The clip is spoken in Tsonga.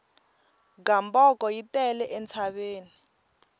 gamboko yi tele entshaveni